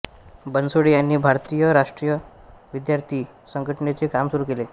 बनसोडे यांनी भारतीय राष्ट्रीय विद्यार्थी संघटनेचे काम सुरू केले